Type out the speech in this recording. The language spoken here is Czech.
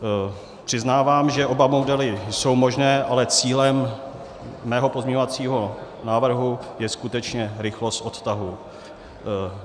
Přiznávám, že oba modely jsou možné, ale cílem mého pozměňovacího návrhu je skutečně rychlost odtahu.